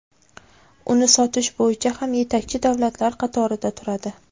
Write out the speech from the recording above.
uni sotish bo‘yicha ham yetakchi davlatlar qatorida turadi.